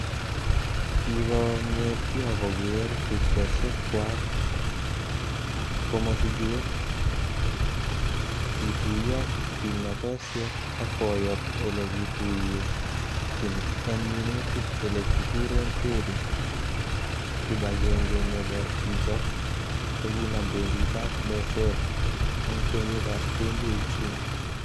Kikongetyo kogere tupchosiekchwak ko mosiget, kituyo kimnotosiek ak koyob ele kituye chin en minutik ele kikuren Terry, kibagenge nebo chichok kokinam benkitab meset en kenyitab 2018.